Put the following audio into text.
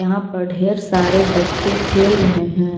यहाँ पर ढेर सारे बच्चे खेल रहे हैं।